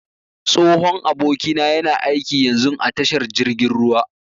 Tsohon abokina yana aiƙi yanzun a tashar jirgin ruwa.